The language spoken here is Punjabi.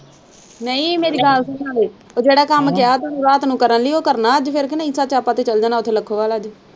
ਨਹੀਂ ਮੇਰੀ ਗੱਲ ਤੇ ਸੁਣੋ ਉਹ ਜਿਹੜਾ ਕੰਮ ਕਿਹਾ ਤੁਸੀਂ ਰਾਤ ਨੂੰ ਕਰਨ ਲਈ ਉਹ ਕਰਨਾ ਅੱਜ ਫਿਰ ਕਿ ਨਹੀਂ ਸੱਚ ਆਪਾਂ ਤੇ ਚੱਲ ਜਾਣਾ .